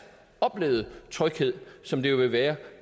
oplevede tryghed som det vil være